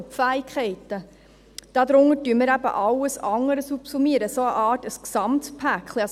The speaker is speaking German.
Unter die Fähigkeiten subsummieren wir eben alles andere, eine Art Gesamtpaket.